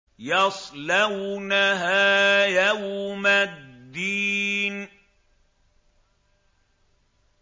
يَصْلَوْنَهَا يَوْمَ الدِّينِ